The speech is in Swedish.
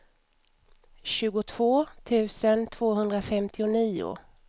tjugotvå tusen tvåhundrafemtionio